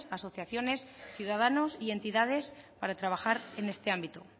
asociaciones ciudadanos y entidades para trabajar en este ámbito